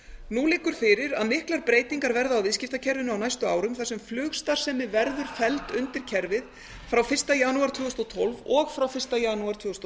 nú liggur fyrir að miklar breytingar verða á viðskiptakerfinu á næstu árum þar sem flugstarfsemi verður felld undir kerfið frá fyrsta janúar tvö þúsund og tólf og frá fyrsta janúar tvö þúsund og